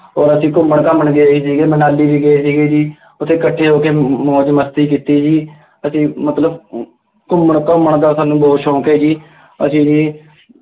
ਅੋਰ ਅਸੀਂ ਘੁੰਮਣ ਘਾਮਣ ਗਏ ਸੀਗੇ, ਮਨਾਲੀ ਅਸ਼ੀਂ ਗਏ ਸੀਗੇ ਜੀ, ਉੱਥੇ ਇਕੱਠੇ ਹੋ ਕੇ ਮੌਜ ਮਸਤੀ ਕੀਤੀ ਜੀ, ਅਸੀਂ ਮਤਲਬ ਅਮ ਘੁੰਮਣ ਘੁੰਮਣ ਦਾ ਸਾਨੂੰ ਬਹੁਤ ਸ਼ੌਂਕ ਹੈ ਜੀ, ਅਸੀਂ ਜੀ,